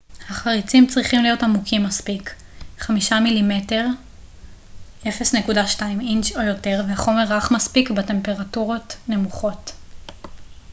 "החריצים צריכים להיות עמוקים מספיק 5 מ""מ 1/5 אינץ' או יותר והחומר רך מספיק בטמפרטורות נמוכות.